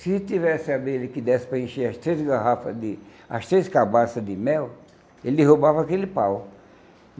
Se tivesse abelha que desse para encher as três garrafas de... as três cabaças de mel, ele roubava aquele pau.